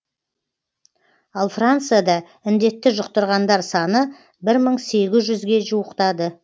ал францияда індетті жұқтырғандар саны бір мың сегіз жүзге жуықтады